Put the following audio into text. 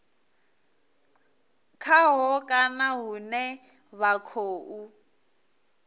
khaho kana hune vha khou